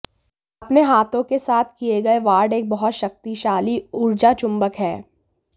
अपने हाथों के साथ किए गए वार्ड एक बहुत शक्तिशाली ऊर्जा चुंबक है